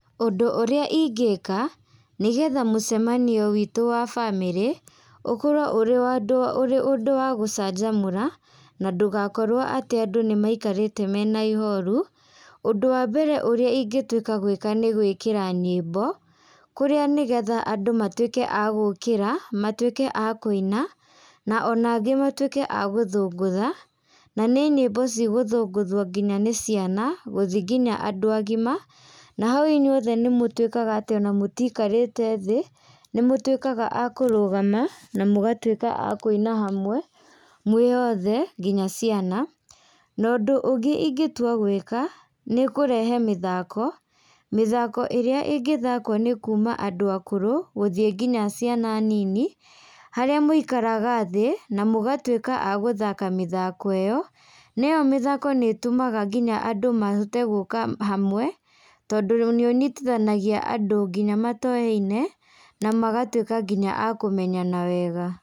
Ũndũ ũrĩa ingĩka, nĩgetha mũcemanio witũ wa bamĩrĩ ũkorwo ũrĩ wa andũ ũrĩ ũndũ wa gũcanjamũra, na ndũgakorwo atĩ andũ nĩmaikarĩte mena ihoru, ũndũ wa mbere ũrĩa ingĩtuĩka gwĩka nĩ gwĩkĩra nyĩmbo, kũrĩa nĩgetha andũ matuĩke a gũkĩra, matuĩke a kũina na ona angĩ matuĩke a gũthũngũtha, na nĩ nyĩmbo cigũthũngũthuo nginya nĩ ciana, gũthiĩ nginya andũ agima, na hau inyuothe nĩmũtuĩkaga atĩ ona mũtikarĩte thĩ, nĩmũtuĩkaga a kũrũgama, na mũgatuĩka a kũina hamwe, mwĩ othe, nginya ciana, na ũndũ ũngĩ ingĩtua gwĩka, nĩkũrehe mĩthako, mĩthako ĩrĩa ĩngĩthakwo nĩ kuma andũ akũrũ, gũthiĩ nginya ciana nini, harĩa mũikaraga thĩ, na mũgatuĩka a gũthaka mĩthako ĩyo, nĩyo mĩthako nĩtũmaga nginya andũ mahote gũka hamwe, tondũ nĩũnyitithanagia andũ nginya matoyaine, namagatuĩka nginya a kũmenyana wega.